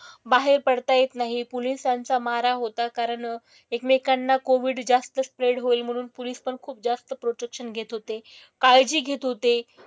बाहेर पडत येत नाही आहे. पुलिसांचा मारा होता कारण एकमेकांना कोविड जास्त स्प्रेड होईल म्हणून पुलिस पण खूप जास्त प्रोटेक्शन घेत होते. काळजी घेत होते.